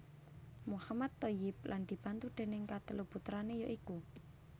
Mohammad Thoyyib lan dibantu déning katelu putrané ya iku